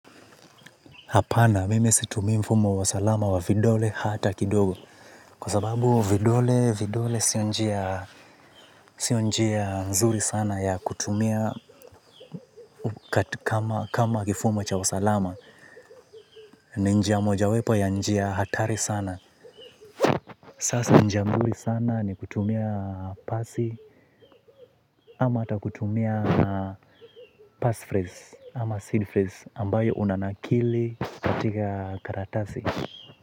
Hapana mimi situmi mfumo wa salama wa vidole hata kidogo. Kwa sababu vidole vidole sio njia nzuri sana ya kutumia kama kifumo cha usalama. Ni njia moja wepo ya njia hatari sana. Sasa njia mzuri sana ni kutumia pasi ama hata kutumia pass phrase ama seed phrase ambayo unanakili katika karatasi.